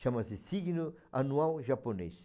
Chama-se signo anual japonês.